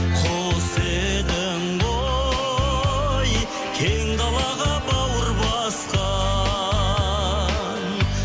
құс едің ғой кең далаға бауыр басқан